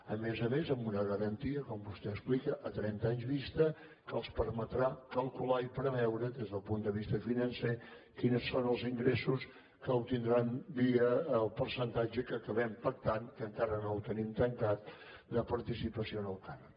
a més a més amb una garantia com vostè explica a trenta anys vista que els permetrà calcular i preveure des del punt de vista financer quins són els ingressos que obtindran via el percentatge que acabem pactant que encara no ho tenim tancat de participació en el cànon